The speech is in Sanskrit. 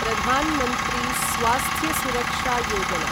प्रधान् मन्त्री स्वास्थ्य सुरक्षा योजना